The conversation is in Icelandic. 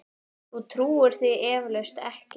Þú trúir því eflaust ekki.